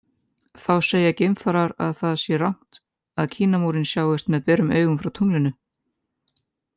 Þá segja geimfarar að það sé rangt að Kínamúrinn sjáist með berum augum frá tunglinu.